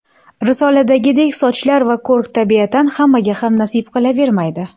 Risoladagidek sochlar va ko‘rk tabiatan hammaga ham nasib qilavermaydi.